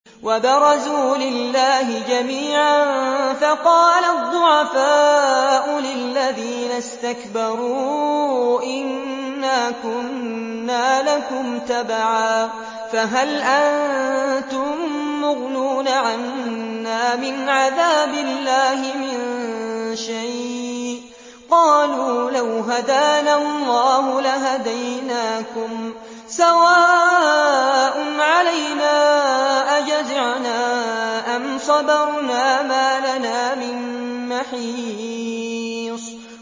وَبَرَزُوا لِلَّهِ جَمِيعًا فَقَالَ الضُّعَفَاءُ لِلَّذِينَ اسْتَكْبَرُوا إِنَّا كُنَّا لَكُمْ تَبَعًا فَهَلْ أَنتُم مُّغْنُونَ عَنَّا مِنْ عَذَابِ اللَّهِ مِن شَيْءٍ ۚ قَالُوا لَوْ هَدَانَا اللَّهُ لَهَدَيْنَاكُمْ ۖ سَوَاءٌ عَلَيْنَا أَجَزِعْنَا أَمْ صَبَرْنَا مَا لَنَا مِن مَّحِيصٍ